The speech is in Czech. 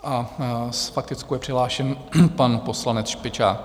S faktickou je přihlášen pan poslanec Špičák.